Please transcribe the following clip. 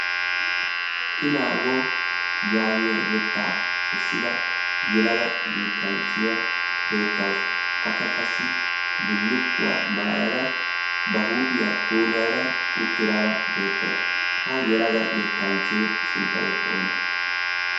i naago yaagiya yettaa kessida yelaga yettanchchiyaa beettausu akka qassi bullukkuwaa maayada ba huuphiyaa pooluayada uttiraara beettauwsu ha yelaga yettanchchee sunttay oonee?